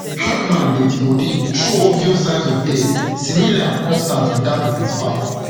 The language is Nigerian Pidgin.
hackman deadi body show obvious obvious signs of death similar and consis ten t wit dat of im spouse